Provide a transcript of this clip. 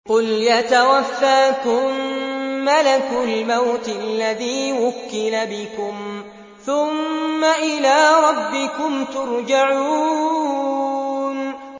۞ قُلْ يَتَوَفَّاكُم مَّلَكُ الْمَوْتِ الَّذِي وُكِّلَ بِكُمْ ثُمَّ إِلَىٰ رَبِّكُمْ تُرْجَعُونَ